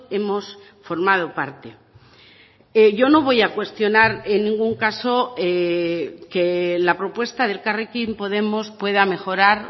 hemos formado parte yo no voy a cuestionar en ningún caso que la propuesta de elkarrekin podemos pueda mejorar